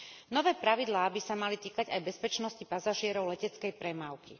Nové pravidlá by sa mali týkať aj bezpečnosti pasažierov leteckej premávky.